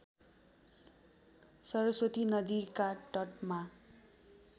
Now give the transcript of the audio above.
सरस्वती नदीका तटमा